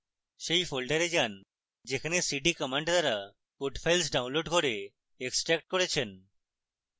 সেই folder জন্য যেখানে cd command দ্বারা code files ডাউনলোড করে এক্সটার্ক্ট করেছেন